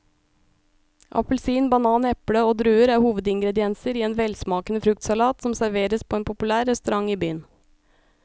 Appelsin, banan, eple og druer er hovedingredienser i en velsmakende fruktsalat som serveres på en populær restaurant i byen.